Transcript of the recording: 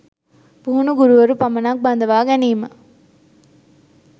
පුහුණු ගුරුවරු පමණක් බඳවා ගැනීම